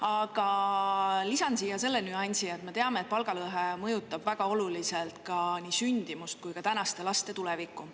Aga lisan siia selle nüansi, et me teame, et palgalõhe mõjutab väga oluliselt ka nii sündimust kui ka tänaste laste tulevikku.